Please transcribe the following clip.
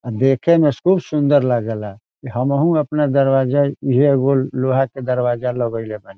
अ देखे मे खूब सुंदर लागेला हमहू अपना दरवाजा इहे एगो लोहा के दरवाजा लगेएने वानी।